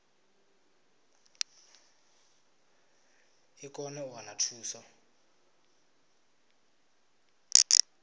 i kone u wana thuso